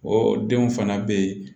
O denw fana be ye